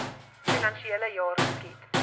finansiele jaar geskied